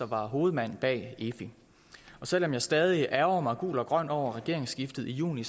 var hovedmand bag efi selv om jeg stadig ærgrer mig gul og grøn over regeringsskiftet i juni